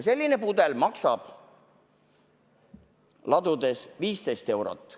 Selline pudel maksab ladudes 15 eurot.